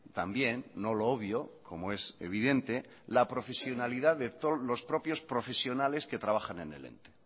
también no lo obvio como es evidente la profesionalidad de los propios profesionales que trabajan en el ente